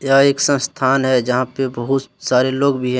यह एक संस्थान है जहां पे बहुत सारे लोग भी है।